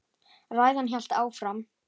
Ræðan hélt áfram: